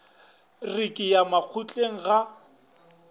re ke ya makgotleng ga